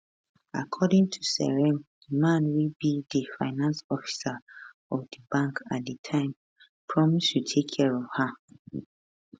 according to seyram di man wey be di finance officer of di bank at di time promise to take care of her